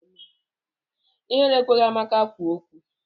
Ihere ekweghị Amaka kwuo okwu.